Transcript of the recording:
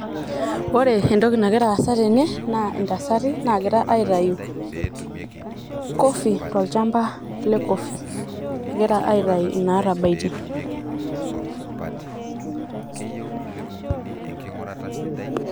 Ore entoki nagira aasa tene naa ntasati nagira aitayu coffee tolchamba le coffee egira aitai inatabaitie .